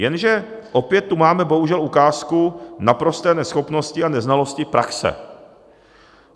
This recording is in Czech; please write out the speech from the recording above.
Jenže opět tu máme, bohužel, ukázku naprosté neschopnosti a neznalosti praxe.